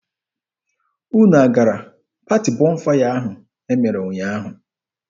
Unu gara paati Bọnfaya ahụ e mere ụnyaahụ.